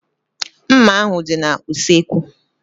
Mma ahu dị n'usekwu